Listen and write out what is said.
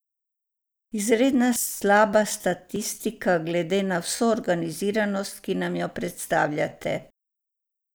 Izredno slaba statistika glede na vso organiziranost, ki nam jo predstavljate.